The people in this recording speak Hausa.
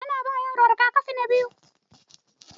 An ba yaron rigakafi na biyu.